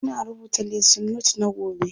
Ina rubuta lesson note na gobe